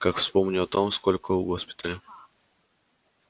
как вспомню о том сколько у госпиталя